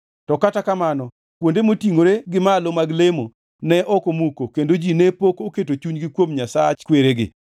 To kata kamano kuonde motingʼore gi malo mag lemo ne ok omuki kendo ji ne pok oketo chunygi kuom Nyasach kweregi.